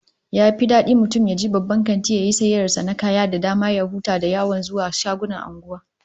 Yafi dadi mutum yaje babban kanti yayi sayayyar sa na kaya da dama ya huta da yawan zuwa shagunan anguwa